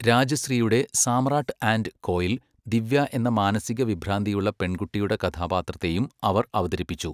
രാജശ്രീയുടെ Samrat and Koil Divya എന്ന മാനസിക വിഭ്രാന്തിയുള്ള പെൺകുട്ടിയുടെ കഥാപാത്രത്തെയും അവർ അവതരിപ്പിച്ചു.